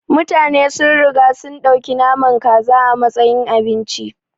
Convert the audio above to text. Mutane sun riga sun ɗauki naman kaza a matsayin abinci.